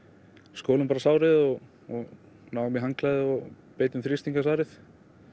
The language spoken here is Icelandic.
skoluðum bara sárið og náðum í handklæði og beitum þrýsting á sárið